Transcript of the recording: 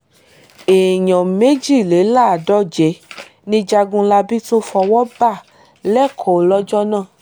èèyàn méjìléláàádóje ni jagunlabi tún fọwọ́ bá lẹ́kọ̀ọ́ lọ́jọ́ náà